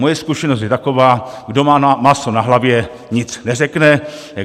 Moje zkušenost je taková: kdo má máslo na hlavě, nic neřekne.